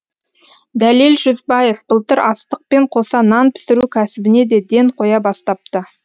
дәлел жүзбаев былтыр астықпен қоса нан пісіру кәсібіне де ден қоя бастапты